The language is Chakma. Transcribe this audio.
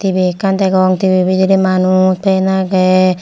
T_V ekkan degong T_V bidire manuj fen age.